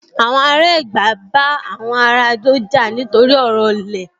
Àwọn ará Ẹ̀gbá bá àwọn ará Adó jà nítorí ọ̀rọ̀ ilẹ̀